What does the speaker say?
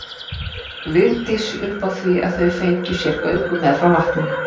Vigdís upp á því að þau fengju sér göngu meðfram vatninu.